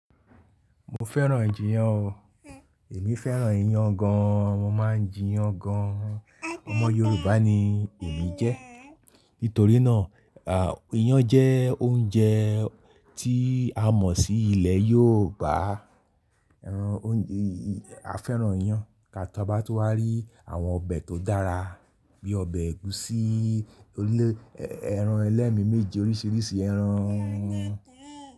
Mo fẹ́ràn ijiyan o. Èmi fẹ́ràn iyan gan. Mo máa ń jíyan gan. Ọmọ Yorùbá ni èmi jẹ́. Nítorí náà, ìyàn jẹ́ oúnjẹ tí a mọ̀ sí ilẹ̀ Yorùbá. A fẹ́ràn iyan. Ka to bá tú wá rí àwọn ọbẹ̀ tó dára bí ọbẹ̀ ẹ̀gúsí, ẹran ẹlẹ́mi méje, oríṣiríṣi ẹran.